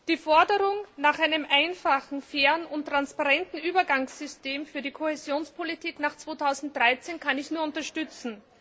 Die Forderung nach einem einfachen, fairen und transparenten Übergangssystem für die Kohäsionspolitik nach 2013 kann ich nur unterstützen.